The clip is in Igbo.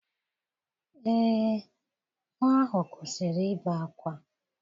Ee, nwa ahụ kwụsịrị ibe ákwá.